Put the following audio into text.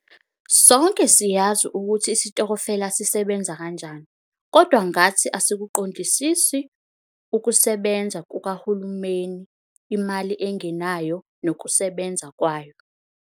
Sonke siyazi ukuthi isitokofela sisebenza kanjani kodwa kwangathi asikuqondisisi ukusebenza kukahulumeni - imali engenayo nokusebenza kwayo.